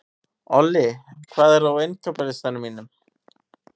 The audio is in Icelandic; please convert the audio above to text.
Olli, hvað er á innkaupalistanum mínum?